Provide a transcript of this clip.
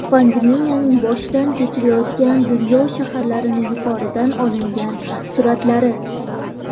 Pandemiyani boshdan kechirayotgan dunyo shaharlarining yuqoridan olingan suratlari.